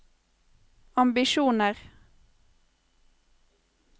ambisjoner